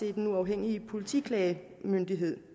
er den uafhængige politiklagemyndighed